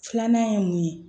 Filanan ye mun ye